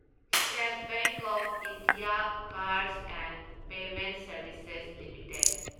state Bank of India cards and payment services limited